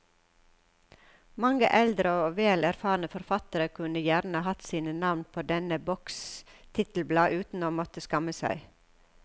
Mange eldre og vel erfarne forfattere kunne gjerne hatt sine navn på denne boks titelblad uten å måtte skamme seg.